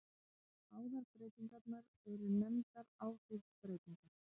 Báðar breytingarnar eru nefndar áhrifsbreytingar.